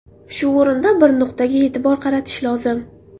Shu o‘rinda bir nuqtaga e’tibor qaratish lozim.